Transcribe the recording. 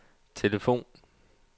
telefon